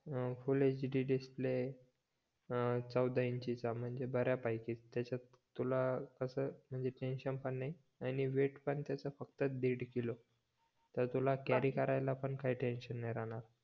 अं full HD display अं चौदा inch ची चा म्हणजे बऱ्या पैकी त्याच्यात तुला कस म्हणजे टेन्शन पण नाही आणि वेट पण त्याचा फक्त दीड किलो त तुला कॅरी करायला पण काही टेन्शन नाही राहणार